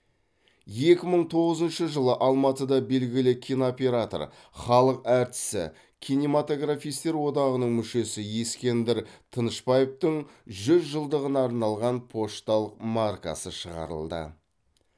екі мың тоғызыншы жылы алматыда белгілі кинооператор халық әртісі кинематографистер одағының мүшесі ескендір тынышбаевтың жүз жылдығына арналған пошталық маркасы шығарылды